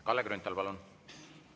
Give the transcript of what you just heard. Kalle Grünthal, palun!